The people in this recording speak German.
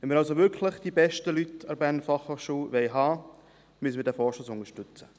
Wenn wir also wirklich die besten Leute an der BFH haben wollen, müssen wir diesen Vorstoss unterstützen.